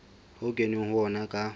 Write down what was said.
ho kenweng ho ona ka